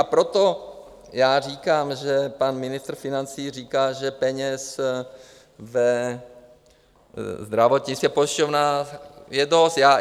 A proto já říkám, že pan ministr financí říká, že peněz ve zdravotnictví, pojišťovnách je dost.